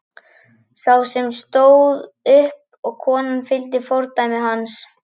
Sá sem fór stóð upp og konan fylgdi fordæmi hans.